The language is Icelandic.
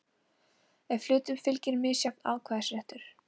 ef hlutum fylgir misjafn atkvæðisréttur.